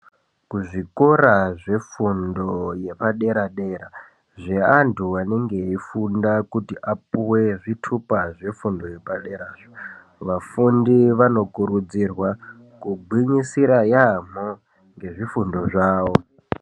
Kuzvikora zvefundo yepadera-dera zveantu anenge eifunga kuti apuve zvitupa zvefundo yepaderazvo. Vafundi vanokurudzirwa kugwinyisira yaamho ngezvifundo zvavo.